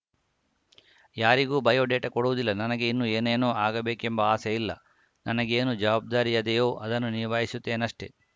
ಯಾರಿಗೂ ಬಯೋಡೇಟಾ ಕೊಡುವುದಿಲ್ಲ ನನಗೆ ಇನ್ನೂ ಏನೇನೋ ಆಗಬೇಕೆಂಬ ಆಸೆಯಿಲ್ಲ ನನಗೇನು ಜವಾಬ್ದಾರಿಯದೆಯೋ ಅದನ್ನು ನಿಭಾಯಿಸುತ್ತೇನಷ್ಟೆ